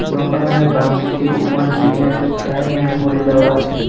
দোকানের বাম দিকে উপরের দিকে টাইমের ঘড়ি দেওয়া আছে।